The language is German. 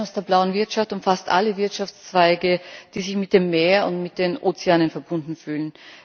Der Terminus blaue Wirtschaft umfasst alle Wirtschaftszweige, die sich mit dem Meer und mit den Ozeanen verbunden fühlen.